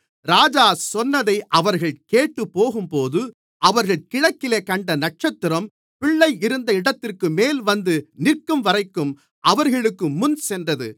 ராஜா சொன்னதை அவர்கள் கேட்டுப் போகும்போது அவர்கள் கிழக்கிலே கண்ட நட்சத்திரம் பிள்ளை இருந்த இடத்திற்குமேல் வந்து நிற்கும்வரைக்கும் அவர்களுக்குமுன் சென்றது